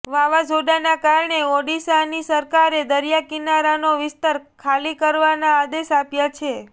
વાવાઝોડાના કારણે ઓડિશાની સરકારે દરિયા કિનારાનો વિસ્તાર ખાલી કરવાના આદેશ આપ્યા છે